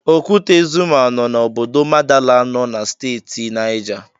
Okwute Zuma nọ na Obodo Madala nọ Steeti Nija.